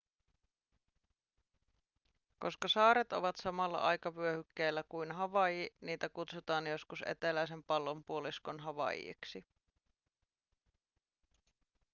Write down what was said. koska saaret ovat samalla aikavyöhykkeellä kuin havaiji niitä kutsutaan joskus eteläisen pallonpuoliskon havaijiksi